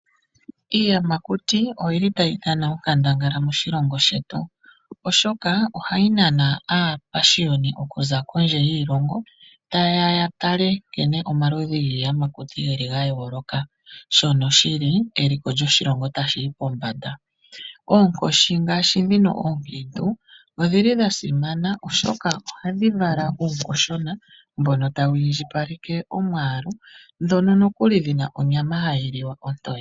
Iiyamakuti oyili ta yi dhana onkandangala moshilongo shetu , oshoka oha yi nana aapashiyoni okuza kondje yiilongo ta yeya yatale nkene omaludhi giiyamakuti geli ga yooloka shono shili eliko lyoshilongo tali yi pombanda . Oonkoshi ngaashi ndhino ookiintu odhili dha simana oshoka ohadhi vala uunkoshi uushona mbono ta wu indjipaleke omwaalu, ndhono nokuli dhina onyama ha yi liwa ontoye.